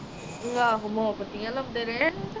ਆਹ ਮੋਬਤੀਆਂ ਲਾਉਂਦੇ ਰਹੇ ਆਹ